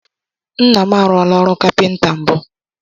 Nna m a rụọla ọrụ kapịnta mbụ.